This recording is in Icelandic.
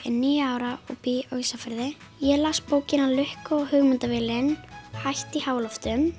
níu ára og bý á Ísafirði ég las bókina lukka og